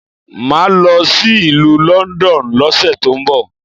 Máà lọ sí ìlú London lọ́sẹ̀ tó ń bọ